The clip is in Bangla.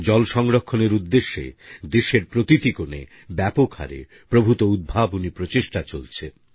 জল সংরক্ষণের উদ্দেশ্যে দেশের প্রতিটি কোণে ব্যাপক হারে প্রভূত উদ্ভাবনী প্রচেষ্টা চলছে